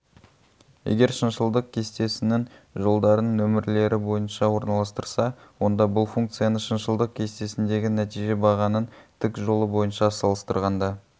егер шыншылдық кестесінің жолдарын нөмірлері бойынша орналастырса онда бұл функцияны шыншылдық кестесіндегі нәтиже бағанының тік жолы бойынша салыстырғанда